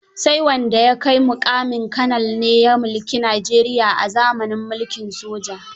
Sai wanda ya kai muƙamin Kanal ne ya mulki Najeria a zamanin mulkin soja.